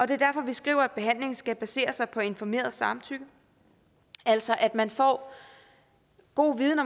det er derfor vi skriver at behandlingen skal basere sig på informeret samtykke altså at man får god viden